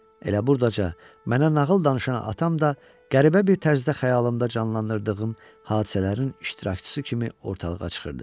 Elə burdaca mənə nağıl danışan atam da qəribə bir tərzdə xəyalımda canlanan hadisələrin iştirakçısı kimi ortalığa çıxırdı.